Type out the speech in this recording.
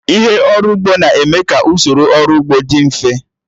Ihe ọrụ ugbo na-eme ka usoro ọrụ ugbo dị mfe